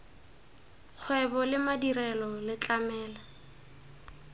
kgwebo le madirelo le tlamela